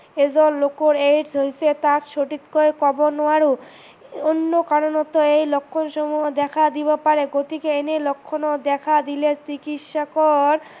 এজন লোকৰ AIDS হৈছে তাক সঠিককে কব নোৱাৰো, অন্য কাৰনতো এই লক্ষন সমূহ দেখা দিব পাৰে গতিকে এনে লক্ষনে দেখা দিলে চিকিৎসকৰ